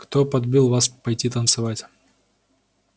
кто подбил вас пойти танцевать